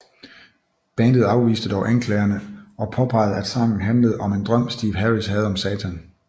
Bandet afviste dog anklagerne og påpegede at sangen handlede om en drøm Steve Harris havde om Satan